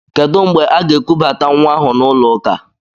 Kedụ mgbe aga-ekubata nwa ahụ n'ụlọ ụka?